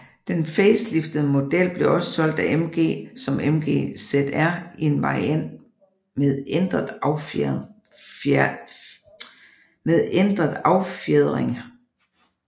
Dedn faceliftede model blev også solgt af MG som MG ZR i en variant med ændret affjedring